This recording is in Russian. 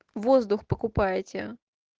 воздух покупаете